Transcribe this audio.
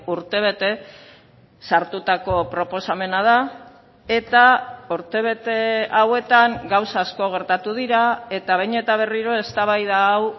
urtebete sartutako proposamena da eta urtebete hauetan gauza asko gertatu dira eta behin eta berriro eztabaida hau